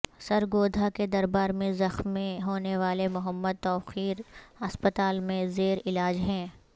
سرگودھا کے دربار میں زخمیں ہونے والے محمد توقیر ہسپتال میں زیر علاج ہیں